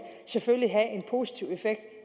selvfølgelig have en positiv effekt